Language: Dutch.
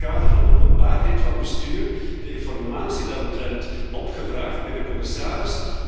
Ik heb in het kader van openbaarheid van bestuur de informatie daaromtrent opgevraagd bij de commissaris.